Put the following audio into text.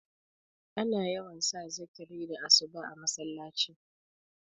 ana yawan sa zikiri da asuba a masallaci